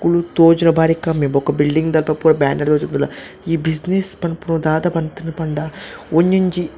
ಉಂದು ತೋಜುನ ಬಾರಿ ಕಮ್ಮಿ ಬೊಕ ಬಿಲ್ಡಿಂಗ್ ದ ಅಲ್ಪ ಪೂರ ಬ್ಯಾನರ್ ತೂಜಪದ ಈ ಬ್ಯುಸಿನೆಸ್ಸ್ ಪನ್ಪುನ ದಾದ ಪಂತುಂಡ್ ಪಂಡ ಒಂಜೊಂಜಿ--